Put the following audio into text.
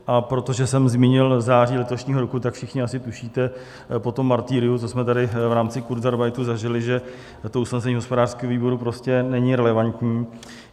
A protože jsem zmínil září letošního roku, tak všichni asi tušíte po tom martyriu, co jsme tady v rámci kurzarbeitu zažili, že to usnesení hospodářského výboru prostě není relevantní.